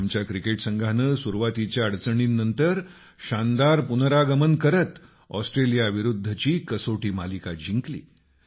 आमच्या क्रिकेट संघानं सुरूवातीच्या अडचणींनंतर शानदार पुनरागमन करत ऑस्ट्रेलियाविरूद्धची कसोटी मालिका जिंकली